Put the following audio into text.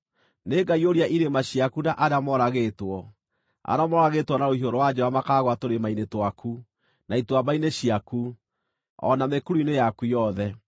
Nĩngaiyũria irĩma ciaku na arĩa moragĩtwo; arĩa moragĩtwo na rũhiũ rwa njora makaagũa tũrĩma-inĩ twaku, na ituamba-inĩ ciaku, o na mĩkuru-inĩ yaku yothe.